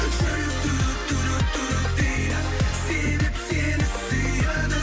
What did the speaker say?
жүрек дейді себеп сені сүйеді